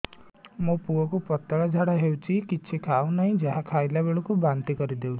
ମୋ ପୁଅ କୁ ପତଳା ଝାଡ଼ା ହେଉଛି କିଛି ଖାଉ ନାହିଁ ଯାହା ଖାଇଲାବେଳକୁ ବାନ୍ତି କରି ଦେଉଛି